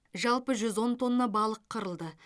жалпы жүз он тонна балық қырылды